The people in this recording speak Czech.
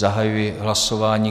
Zahajuji hlasování.